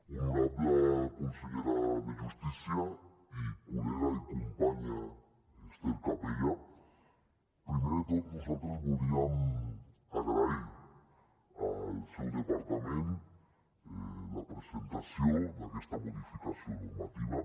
honorable consellera de justícia i col·lega i companya ester capella primer de tot nosaltres volíem agrair al seu departament la presentació d’aquesta modificació normativa